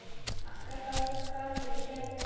Magga gáfu gatinu gætur.